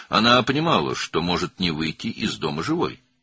O başa düşürdü ki, evdən sağ çıxmaya bilər.